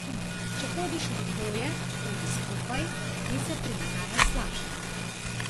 Če hodiš v dvoje, hodi skupaj in se prilagajaj slabšemu.